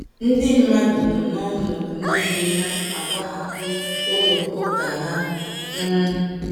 Ndị mmadụ nọ n’ọnọdụ nile na - agbahapụ ụlọ ụka ha um.